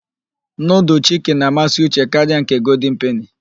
Nudul chiki na-amasị Uche karịa nke golden peni.